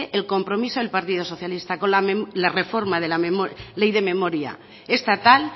el compromiso del partido socialista con la reforma de la ley de memoria estatal